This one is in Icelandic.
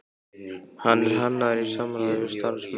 Hann er hannaður í samráði við starfsmenn